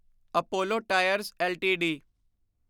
Apollo Tyres LTD